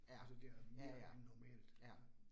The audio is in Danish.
Ja, ja ja, ja